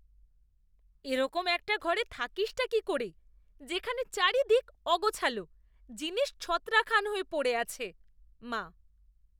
এরকম একটা ঘরে থাকিসটা কী করে যেখানে চারিদিক অগোছালো, জিনিস ছত্রাখান হয়ে পড়ে আছে! মা